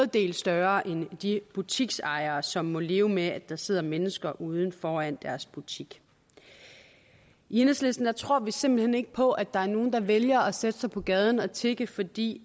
del større end de butiksejeres som må leve med at der sidder mennesker ude foran deres butik i enhedslisten tror vi simpelt hen ikke på at der er nogen der vælger at sætte sig på gaden og tigge fordi